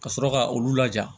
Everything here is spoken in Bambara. Ka sɔrɔ ka olu laja